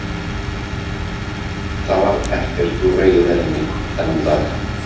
Það varð ekkert úr veiðiferðinni þennan dag.